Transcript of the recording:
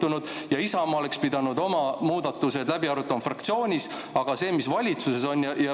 Ongi nii, et Isamaa oleks pidanud oma muudatus fraktsioonis läbi arutama, aga see, mis valitsuses sünnib…